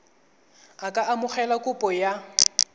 a ka amogela kopo ya